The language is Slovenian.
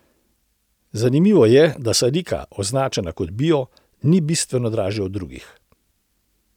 Zanimivo je, da sadika, označena kot bio, ni bistveno dražja od drugih.